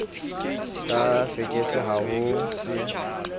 ka fekese ha ho se